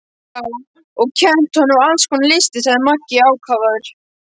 Já, og kennt honum alls konar listir, sagði Maggi ákafur.